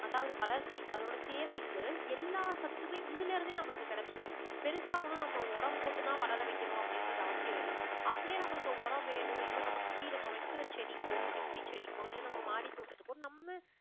அதாவது வளர்ச்சி அதோட தேவைக்கு எல்லா சத்துமே இதுலிருந்தே நமக்கு கிடைச்சுடும். பெருசா ஒண்ணும் நம்ம உரம் போட்டு தான் வளர வைக்கணும் அப்படின்றது அவசியமில்லை. அப்படியே நம்மளுக்கு உரம் வேணும் இப்ப நம்ம குட்டி நம்ம வைக்குற செடிக்கோ குட்டி குட்டி செடிக்கோ இல்ல நம்ம மாடி தோட்டத்துக்கோ நம்ம